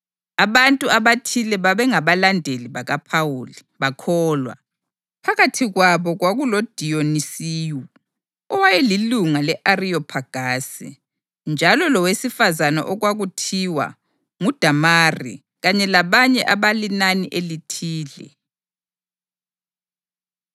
Abantu abathile baba ngabalandeli bakaPhawuli, bakholwa. Phakathi kwabo kwakuloDiyonisiyu owayelilunga le-Ariyophagasi, njalo lowesifazane okwakuthiwa nguDamari kanye labanye abalinani elithile.